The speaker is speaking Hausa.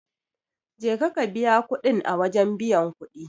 Je ka ka biya kudin a wajen biyan kudi.